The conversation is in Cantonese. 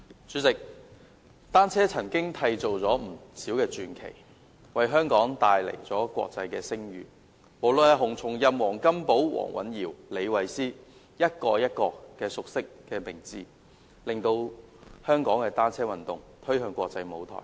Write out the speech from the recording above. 主席，單車曾經締造了不少傳奇，為香港帶來國際聲譽，無論是洪松蔭、黃金寶、黃蘊瑤或李慧詩，一個一個熟悉的名字，將香港的單車運動推向國際舞台。